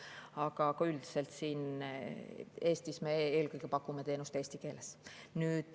Aga üldiselt Eestis me eelkõige pakume teenust eesti keeles.